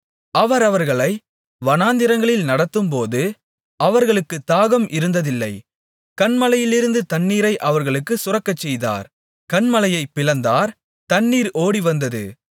அவர் அவர்களை வனாந்திரங்களில் நடத்தும்போது அவர்களுக்குத் தாகம் இருந்ததில்லை கன்மலையிலிருந்து தண்ணீரை அவர்களுக்குச் சுரக்கச்செய்தார் கன்மலையைப் பிளந்தார் தண்ணீர் ஓடிவந்தது